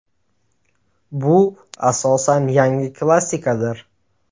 Bu asosan yangi klassikadir.